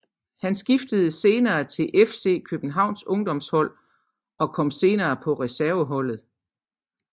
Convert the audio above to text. Han skiftede senere til FC Københavns ungdomshold af og kom senere på reserve holdet